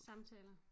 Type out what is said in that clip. Samtaler